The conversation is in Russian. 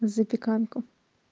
запеканку